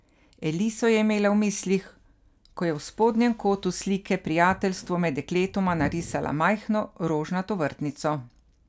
Eliso je imela v mislih, ko je v spodnjem kotu slike Prijateljstvo med dekletoma narisala majhno, rožnato vrtnico.